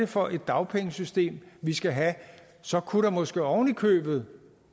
for et dagpengesystem vi skal have så kunne der måske oven i købet